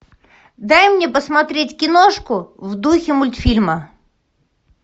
дай мне посмотреть киношку в духе мультфильма